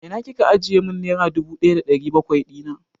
A ina Kika ajiye mun nera dubu ɗaya da ɗari bakwai dina?